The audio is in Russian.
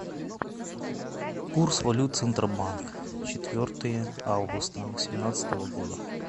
курс валют центробанк четвертое августа восемнадцатого года